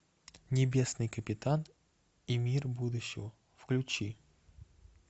небесный капитан и мир будущего включи